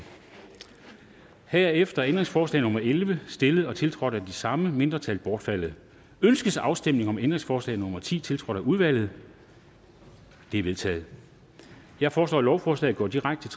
herefter er ændringsforslag nummer elleve stillet og tiltrådt af de samme mindretal bortfaldet ønskes afstemning om ændringsforslag nummer ti tiltrådt af udvalget det er vedtaget jeg foreslår at lovforslaget går direkte